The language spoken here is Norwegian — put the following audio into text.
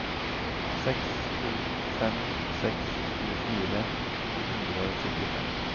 seks to fem seks tjuefire to hundre og syttifem